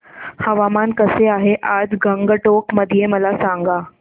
हवामान कसे आहे आज गंगटोक मध्ये मला सांगा